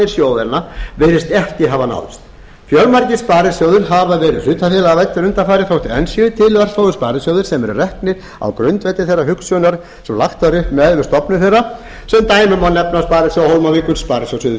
sjóðanna virðist ekki hafa náðst fjölmargir sparisjóðir hafa verið hlutafélagavæddir undanfarið þótt enn séu til örfáir sparisjóðir sem eru reknir á grundvelli þeirrar hugsunar sem lagt var upp með við stofnun þeirra sem dæmi má nefna sparisjóði hólmavíkur sparisjóð suður